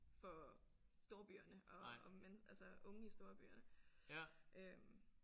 For storbyerne og og men altså unge i storbyerne øh